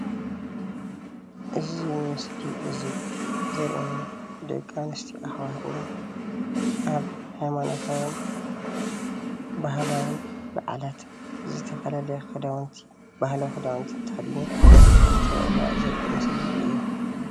እዚ ምስሊ እዙይ ዘርእየና ደቂ ኣነስትዮ ኣሕዋትና ኣብ ሃይማኖታዊን ባህላውን በዓላት ዝተፈላለየ ክዳውንቲ ባህላዊ ክዳውነቲ ተከዲነን እንተብዕላ ዘርኢ ምስሊእዩ፡፡